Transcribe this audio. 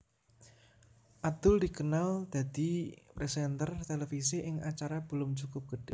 Adul dikenal dadi présènter televisi ing acara Belum Cukup Gede